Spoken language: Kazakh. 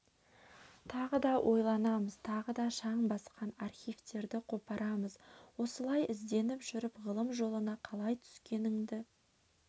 тағы да ойланамыз тағы да шаң басқан архивтерді қопарамыз осылай ізденіп жүріп ғылым жолына қалай түскеніңді